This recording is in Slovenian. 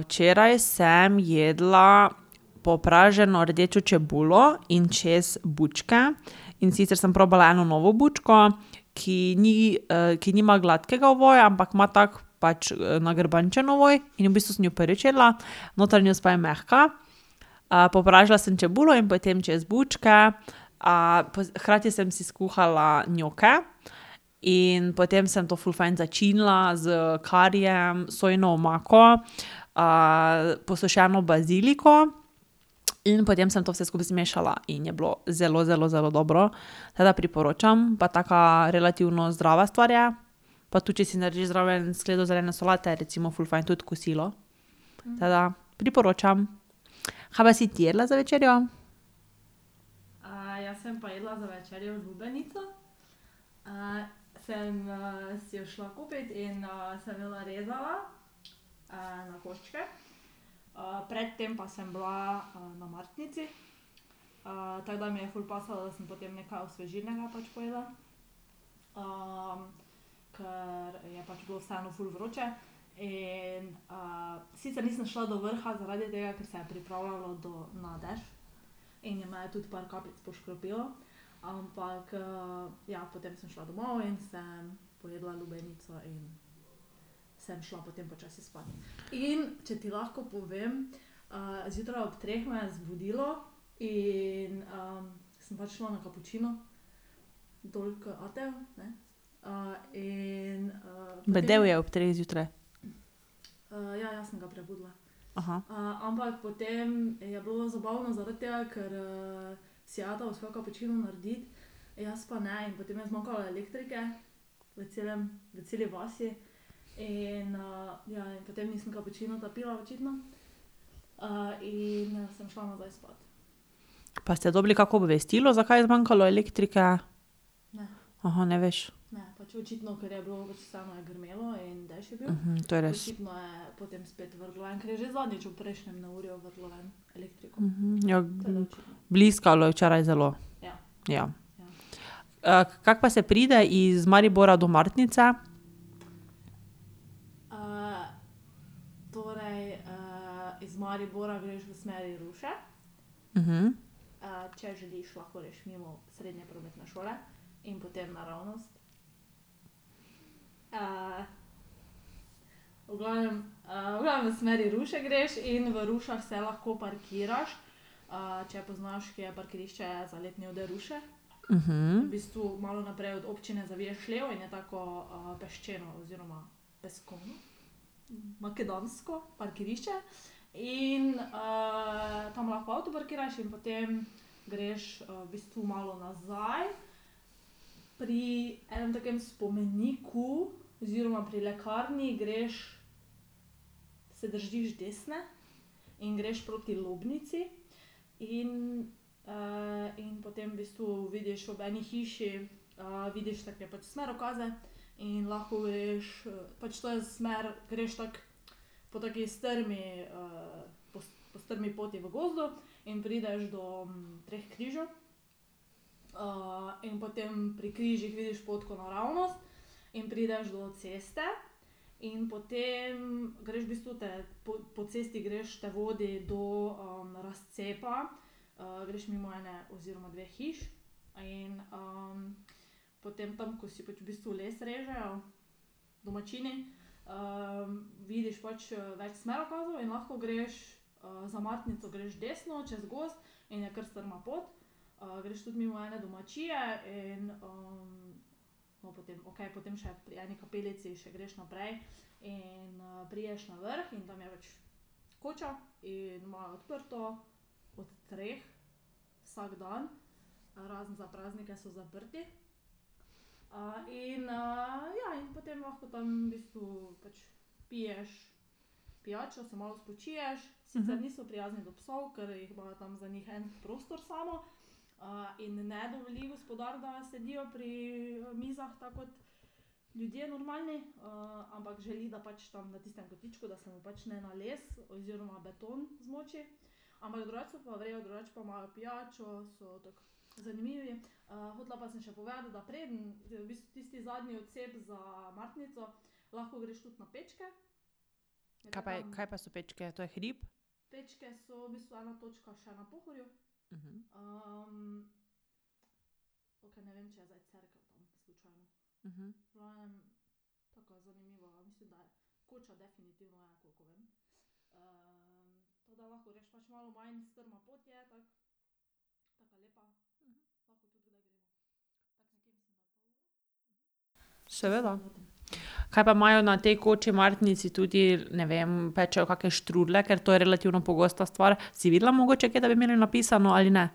včeraj sem jedla popraženo rdečo čebulo in čez bučke, in sicer sem probala eno novo bučko, ki ni, ki nima gladkega ovoja, ampak ima tako pač nagrbančen ovoj in v bistvu sem jo prvič jedla. Notranjost pa je mehka. popražila sem čebulo in potem čez bučke, hkrati sem si skuhala njoke. In potem sem to ful fajn začinila s karijem, sojino omako, posušeno baziliko. In potem sem to vse skupaj zmešala in je bilo zelo, zelo, zelo dobro. Tako da priporočam. Pa taka relativno zdrava stvar je. Pa tudi, če si narediš zraven skledo zelene solate, je recimo ful fajn tudi kosilo. Tako da priporočam. Ka pa si ti jedla za večerjo? Bedel je ob treh zjutraj? Pa ste dobili kako obvestilo, zakaj je zmanjkalo elektrike? ne veš. to je res. Ja. Bliskalo je včeraj zelo. Ja. kako pa se pride iz Maribora do Martnice? Kaj pa je, kaj pa so Pečke? To je hrib? Seveda. Kaj pa imajo na tej koči v Martnici tudi, ne vem, pečejo kake štrudlje? Ker to je relativno pogosta stvar. Si videla mogoče kje, da bi imeli napisano, ali ne?